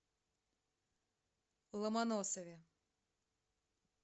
ломоносове